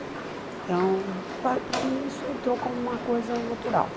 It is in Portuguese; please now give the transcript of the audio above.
Então, pa para mim, isso entrou como uma coisa natural.